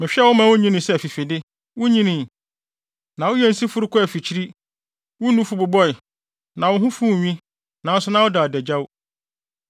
Mehwɛɛ wo ma wunyinii sɛ afifide. Wunyinii, na woyɛɛ nsiforo kɔɔ afikyiri. Wo nufu bobɔe, na wo ho fuw nwi, nanso na woda adagyaw.